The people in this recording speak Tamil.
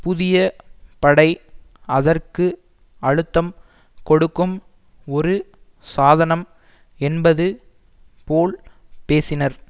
புதிய படை அதற்கு அழுத்தம் கொடுக்கும் ஒரு சாதனம் என்பது போல் பேசினர்